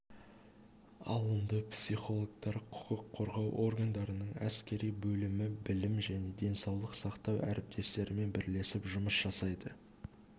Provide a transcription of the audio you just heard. алынды психологтар құқық қорғау органдарының әскери бөлімі білім және денсаулық сақтау әріптестерімен бірлесіп жұмыс жасайды